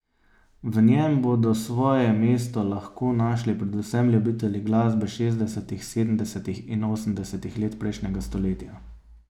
V njem bodo svoje mesto lahko našli predvsem ljubitelji glasbe šestdesetih, sedemdesetih in osemdesetih let prejšnjega stoletja.